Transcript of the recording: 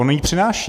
On ji přináší.